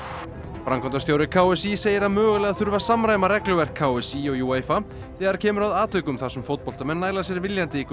framkvæmdastjóri k s í segir að mögulega þurfi að samræma regluverk k s í og þegar kemur að atvikum þar sem fótboltamenn næla sér viljandi í gult